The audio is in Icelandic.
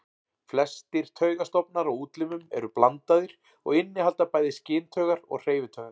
Flestir taugastofnar á útlimum eru blandaðir og innihalda bæði skyntaugar og hreyfitaugar.